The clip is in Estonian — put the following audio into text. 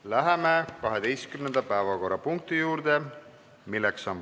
Läheme 12. päevakorrapunkti juurde.